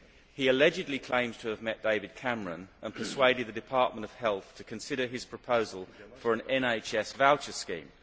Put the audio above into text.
He allegedly claims to have met David Cameron and persuaded the Department of Health to consider his proposal for an NHS voucher scheme.